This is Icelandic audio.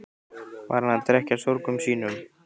Var hann að drekkja sorgum sínum?